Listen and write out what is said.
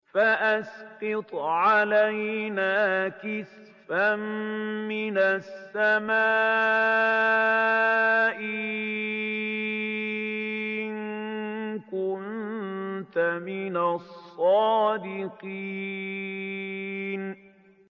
فَأَسْقِطْ عَلَيْنَا كِسَفًا مِّنَ السَّمَاءِ إِن كُنتَ مِنَ الصَّادِقِينَ